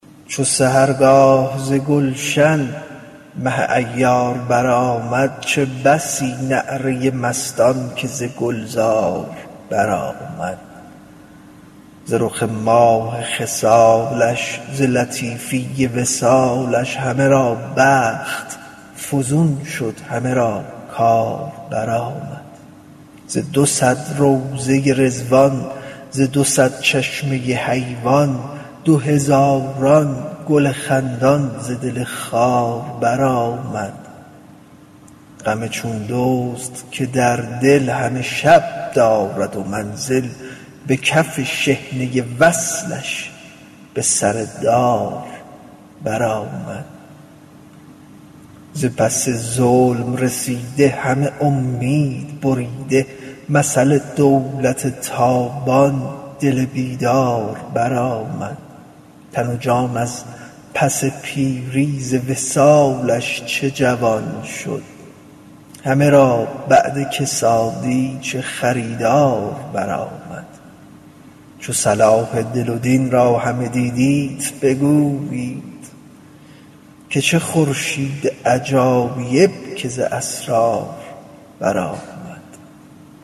چو سحرگاه ز گلشن مه عیار برآمد چه بسی نعره مستان که ز گلزار برآمد ز رخ ماه خصالش ز لطیفی وصالش همه را بخت فزون شد همه را کار برآمد ز دو صد روضه رضوان ز دو صد چشمه حیوان دو هزاران گل خندان ز دل خار برآمد غم چون دزد که در دل همه شب دارد منزل به کف شحنه وصلش به سر دار برآمد ز پس ظلم رسیده همه امید بریده مثل دولت تابان دل بیدار برآمد تن و جان از پس پیری ز وصالش چه جوان شد همه را بعد کسادی چه خریدار برآمد چو صلاح دل و دین را همه دیدیت بگویید که چه خورشید عجایب که ز اسرار برآمد